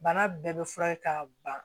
Bana bɛɛ bɛ furakɛ k'a ban